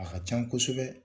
A ka can kosɛbɛ.